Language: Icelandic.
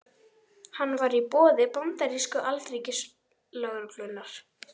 Hann var í boði bandarísku alríkislögreglunnar.